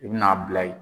I bi n'a bila ye